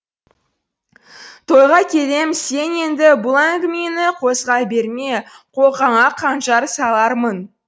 тойға келем сен енді бұл әңгімені қозғай берме қолқаңа қанжар салармын